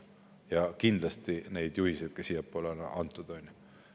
Ja kindlasti on sealt antud ka juhiseid siiapoole.